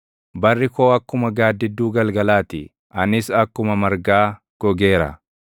Barri koo akkuma gaaddidduu galgalaa ti; anis akkuma margaa gogeera.